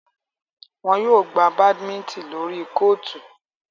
Wọn yóò gbà badminton lórí kootu